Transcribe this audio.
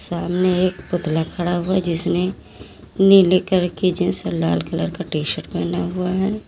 सामने एक पुतला खड़ा हुआ है जिसने नीले कलर की जींस और लाल कलर का टी शर्ट पहना हुआ है।